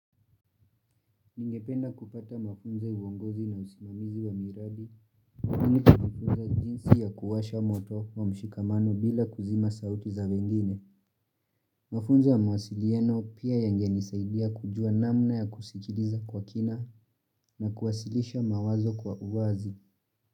Ningependa kupata mafunzo uongozi na usimamizi wa miradi nini kufunza jinsi ya kuwasha moto wa mshikamano bila kuzima sauti za wengine Mafunzo ya mawasiliano pia yangenisaidia kujua namna ya kusikiliza kwa kina na kuwasilisha mawazo kwa uwazi.